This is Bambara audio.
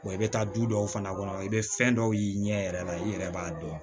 i bɛ taa du dɔw fana kɔnɔ i bɛ fɛn dɔw y'i ɲɛ yɛrɛ la i yɛrɛ b'a dɔn